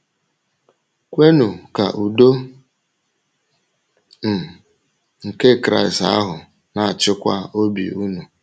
“Kwènụ ka ùdò um nke Kraịst ahụ na-achịkwa obi ùnụ…”